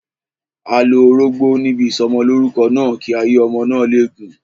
A lo orógbó níbi ìsọmọlórúkọ náà, kí ayé ọmọ lè gùn.